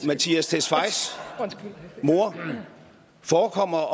mattias tesfayes mor forekommer